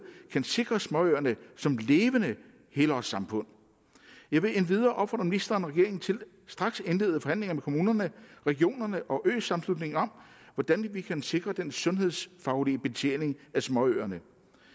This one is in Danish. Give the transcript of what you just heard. kan sikre småøerne som levende helårssamfund jeg vil endvidere opfordre ministeren og regeringen til straks at indlede forhandlinger med kommunerne regionerne og øsammenslutningen om hvordan vi kan sikre den sundhedsfaglige betjening af småøerne